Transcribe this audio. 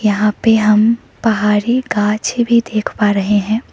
यहां पे हम पहाड़ी गांछे भी देख पा रहे हैं।